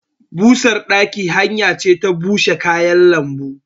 Busar ɗaki hanya ce ta bushe kayan lambu.